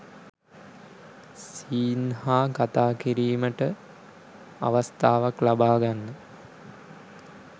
scene හා කතා කිරීමට අවස්ථාවක් ලබා ගන්න